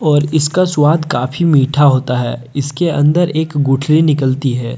और इसका स्वाद काफी मीठा होता है इसके अंदर एक गुठली निकलती है।